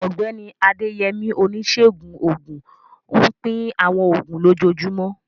Ọ̀gbẹ́ni Adeyemi, oníṣègùn òògùn, ń pín àwọn oògùn lójoojúmọ́.